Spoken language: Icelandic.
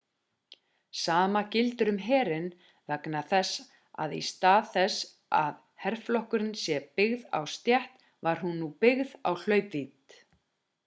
sama gildir um herinn vegna þess að í stað þess að herflokkun sé byggð á stétt var hún nú byggð á hlaupvídd